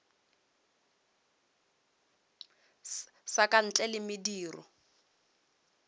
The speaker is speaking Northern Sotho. sa ka ntle le mediro